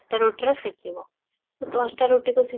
ଟା ରୁଟିରୁ ସେକିବ ତ ଦଶଟା ରୁଟି କୁ ସେ